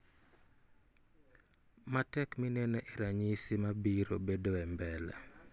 matek mineno e ranyisi mabiro bedoe mbele